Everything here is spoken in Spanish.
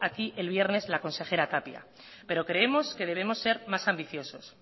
aquí el viernes la consejera tapia pero creemos que debemos ser más ambiciosos